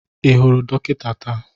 Ị hụrụ dọkịta taa?